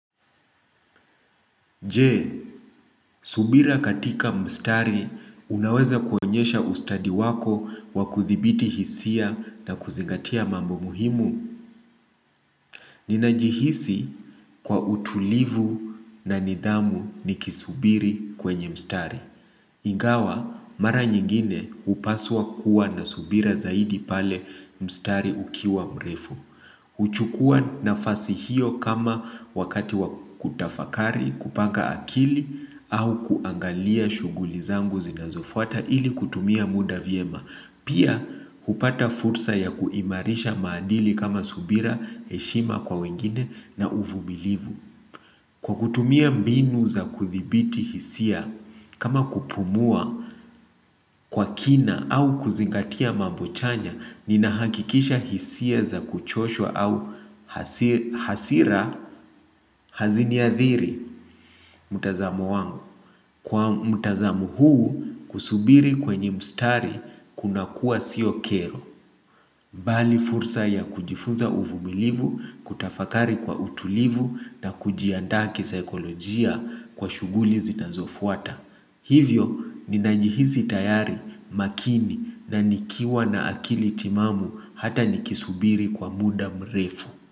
Je, subira katika mstari unaweza kuonyesha ustadi wako wakuthibiti hisia na kuzingatia mambo muhimu. Ninajihisi kwa utulivu na nidhamu nikisubiri kwenye mstari. Ingawa, mara nyingine hupaswa kuwa na subira zaidi pale mstari ukiwa mrefu. Huchukua nafasi hiyo kama wakati wakutafakari, kupanga akili au kuangalia shuguli zangu zinazofuata ili kutumia muda vyema. Pia hupata fursa ya kuimarisha maandili kama subira, heshima kwa wengine na uvumilivu. Kwa kutumia mbinu za kuthibiti hisia, kama kupumua kwa kina au kuzingatia mambochanya, ninahakikisha hisia za kuchoshwa au hasira haziniathiri. Mtazamo wangu, kwa mtazamo huu kusubiri kwenye mstari kuna kuwa siokero, bali fursa ya kujifunza uvumilivu, kutafakari kwa utulivu na kujiandaa ki saikolojia kwa shughuli zitazofuata. Hivyo, ninanjihisi tayari makini na nikiwa na akili timamu hata nikisubiri kwa muda mrefu.